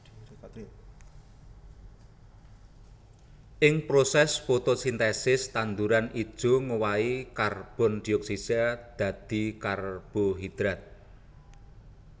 Ing prosès fotosintesis tanduran ijo ngowahi karbon dioksida dadi karbohidrat